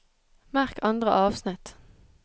Merk andre avsnitt